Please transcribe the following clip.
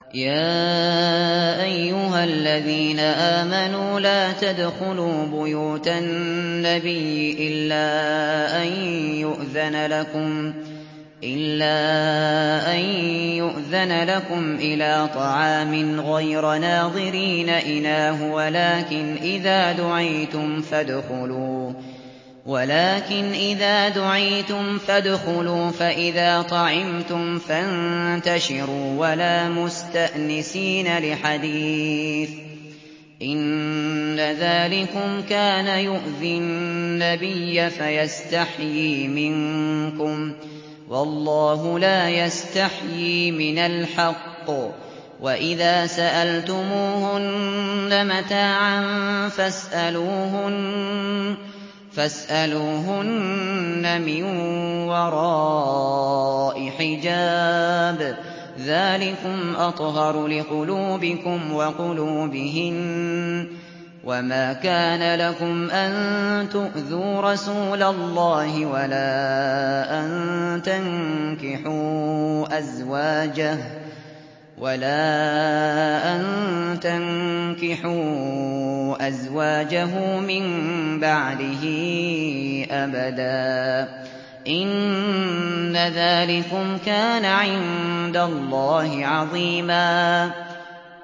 يَا أَيُّهَا الَّذِينَ آمَنُوا لَا تَدْخُلُوا بُيُوتَ النَّبِيِّ إِلَّا أَن يُؤْذَنَ لَكُمْ إِلَىٰ طَعَامٍ غَيْرَ نَاظِرِينَ إِنَاهُ وَلَٰكِنْ إِذَا دُعِيتُمْ فَادْخُلُوا فَإِذَا طَعِمْتُمْ فَانتَشِرُوا وَلَا مُسْتَأْنِسِينَ لِحَدِيثٍ ۚ إِنَّ ذَٰلِكُمْ كَانَ يُؤْذِي النَّبِيَّ فَيَسْتَحْيِي مِنكُمْ ۖ وَاللَّهُ لَا يَسْتَحْيِي مِنَ الْحَقِّ ۚ وَإِذَا سَأَلْتُمُوهُنَّ مَتَاعًا فَاسْأَلُوهُنَّ مِن وَرَاءِ حِجَابٍ ۚ ذَٰلِكُمْ أَطْهَرُ لِقُلُوبِكُمْ وَقُلُوبِهِنَّ ۚ وَمَا كَانَ لَكُمْ أَن تُؤْذُوا رَسُولَ اللَّهِ وَلَا أَن تَنكِحُوا أَزْوَاجَهُ مِن بَعْدِهِ أَبَدًا ۚ إِنَّ ذَٰلِكُمْ كَانَ عِندَ اللَّهِ عَظِيمًا